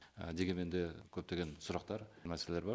дегенмен де көптеген сұрақтар мәселелер бар